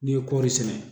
N'i ye kɔri sɛnɛ